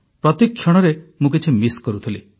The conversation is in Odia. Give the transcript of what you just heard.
ପ୍ରତିକ୍ଷଣରେ ମୁଁ କିଛି ମିସ୍ କରୁଥିଲି